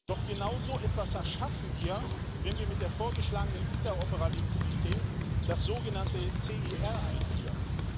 Doch genau so etwas erschaffen wir, wenn wir mit der vorgeschlagenen Interoperabilität das sogenannte CIR einführen.